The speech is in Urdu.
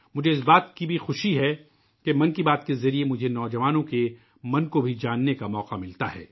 مجھے اس بات کی بھی خوشی ہے کہ '' من کی بات '' کے ذریعے مجھے نو جوانوں کے دِل کو بھی جاننے کا موقع ملتا ہے